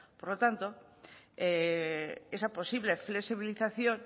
por lo tanto esa posible flexibilización